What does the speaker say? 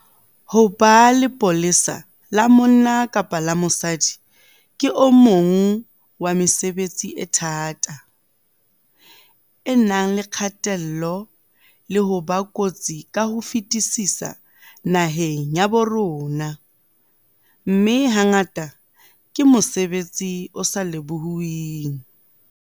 Ho ba lepolesa la monna kapa la mosadi ke o mong wa mesebetsi e thata, e nang le kgatello le ho ba kotsi ka ho fetisisa naheng ya bo rona, mme hangata ke mosebetsi o sa lebohuweng.